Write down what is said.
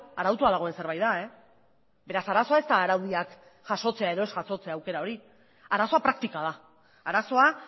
arautua dagoen zerbait da beraz arazoa ez da araudiak jasotzea edo ez jasotzea aukera hori arazoa praktika da arazoa